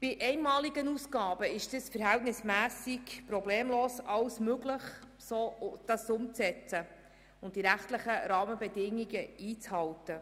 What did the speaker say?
Bei einmaligen Ausgaben ist es verhältnismässig problemlos möglich, das so umzusetzen und die rechtlichen Rahmenbedingungen einzuhalten.